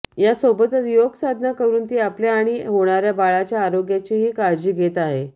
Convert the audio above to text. यासोबतच योग साधना करून ती आपल्या आणि होणाऱ्या बाळाच्या आरोग्याचीही काळजी घेत आहे